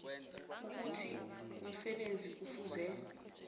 ukuthi umsebenzi kufuze